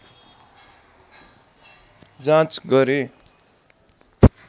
जाँच गरे